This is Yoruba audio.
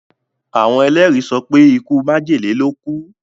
Àwon èlérí sopé ikú májèlé ló kúú.